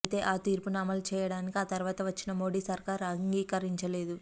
అయితే ఆ తీర్పును అమలుచేయటానికి ఆ తర్వాత వచ్చిన మోడీ సర్కారు అంగీకరించలేదు